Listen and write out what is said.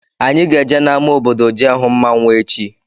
Anyị ga-eje n' ámá obodo jee hụ mmanwụ echi.